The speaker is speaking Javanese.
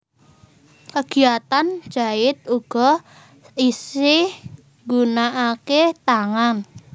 Kegiyatan jait uga isi nggunanake tangan